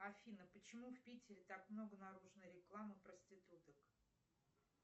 афина почему в питере так много наружной рекламы проституток